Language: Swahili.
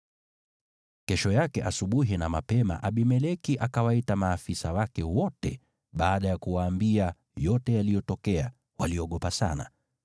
Kesho yake asubuhi na mapema Abimeleki akawaita maafisa wake wote, na baada ya kuwaambia yote yaliyotokea, waliogopa sana.